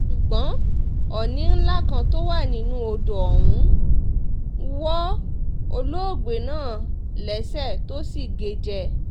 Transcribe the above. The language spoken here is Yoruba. ṣùgbọ́n òní ńlá kan tó wà nínú odò ọ̀hún wọ olóògbé náà lẹ́sẹ̀ tó sì gé e jẹ